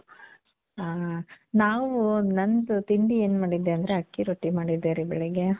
ಆ.ನಾವು ನಂದು ತಿಂಡಿ ಏನ್ ಮಾಡಿದ್ದೆ ಅಂದ್ರೆ ಅಕ್ಕಿ ರೊಟ್ಟಿ ಮಾಡಿದ್ದೆ ರೀ ಬೆಳಗ್ಗೆ.